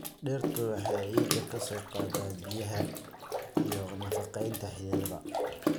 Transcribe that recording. Dhirtu waxay ciidda ka soo qaadaa biyaha iyo nafaqeynta xididada.